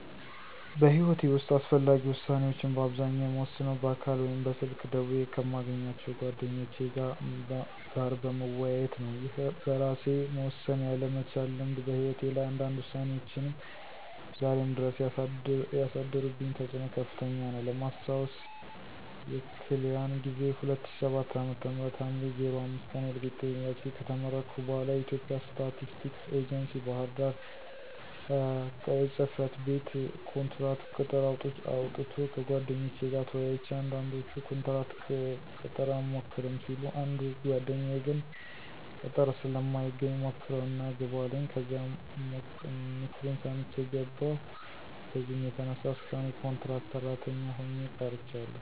በሕይወቴ ዉስጥ አስፈላጊ ዉሳኔዎችን በአብዛኛው የምወስነው በአካል ወይም በስልክ ደውየ ከማገኛቸው ጓደኞቼ ጋር በመወያየት ነው። ይህ በእራሴ መወሰን ያለ መቻል ልምድ በህይወቴ ላይ አንዳንድ ውሳኔዎች ዛሬም ድረስ ያሳደሩብኝ ተፅኖ ከፍተኛ ነው። ለማስታወስ የክል ያን ጊዜ 2007 ዓ.ም ሀምሌ 05 ቀን ወልቂጤ ዩኒቨርስቲ ከተመረኩ በኋለ የኢትዬጵያ ስታቲስቲክስ ኤጀንሲ ባህርዳር ቅ/ጽ/ቤት ኮንትራት ቅጥር አውጥቶ ከጓደኞቼ ጋር ተወያይቼ አንዳንዶቹ ኮንትራት ቅጥር አንሞክርም ሲሉ አንዱ ጓደኛየ ግን ቅጥር ስለማይገኝ ሞክረው እና ግባ አለኝ ከዚያም ምክሩን ሰምቸ ገባው። በዚህም የተነሳ እስካሁን የኮንትራት ሰራተኛ ሆኘ ቀርቻለሁ።